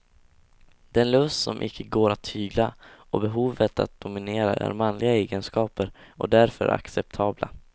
Den lust som icke går att tygla och behovet att dominera är manliga egenskaper och därför acceptabla.